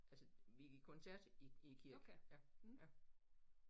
Altså vi giver koncert i i æ kirke ja ja